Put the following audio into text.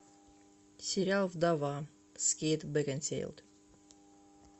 сериал вдова с кейт бекинсейл